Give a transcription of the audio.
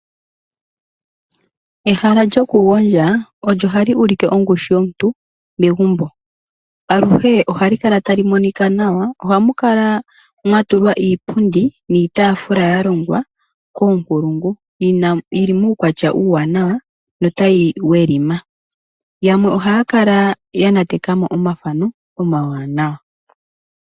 Ehala lyoku gondja olyo hali ulike ongushu yomuntu megumbo, aluhe ohali kala tali monika nawa. Ohamu kala mwa tulwa iipundi niitaafula ya longwa koonkulungu yili muukwatya uuwanawa notayi welima. Yamwe ohaya kala ya nateka mo omafano omawanawa.